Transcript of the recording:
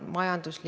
Urmas Kruuse, palun!